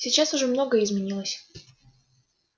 сейчас уже многое изменилось